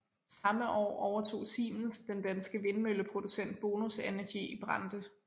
Samme år overtog Siemens den danske vindmølleproducent Bonus Energy i Brande